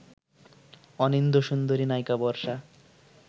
অনিন্দ্যসুন্দরী নায়িকা বর্ষা